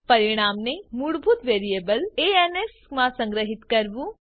પરિણામને મૂળભૂત variable ans માં સંગ્રહિત કરવું